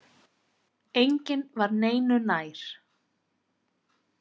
Enginn var neinu nær.